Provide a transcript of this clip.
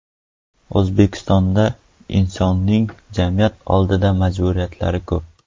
O‘zbekistonda insonning jamiyat oldidagi majburiyatlari ko‘p.